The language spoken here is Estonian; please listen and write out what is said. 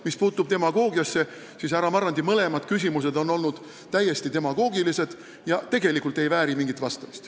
Mis puutub demagoogiasse, siis härra Marrandi mõlemad küsimused on olnud täiesti demagoogilised ja tegelikult ei vääri mingit vastust.